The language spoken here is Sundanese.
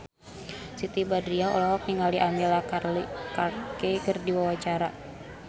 Siti Badriah olohok ningali Emilia Clarke keur diwawancara